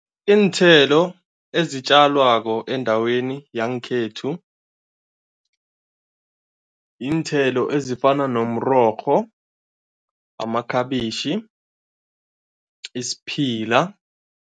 Iinthelo ezitjalwako endaweni yangekhethu, yiinthelo ezifana nomrorho, amakhabitjhi, isiphila.